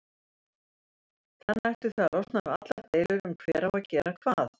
Þannig ættuð þið að losna við allar deilur um hver á að gera hvað.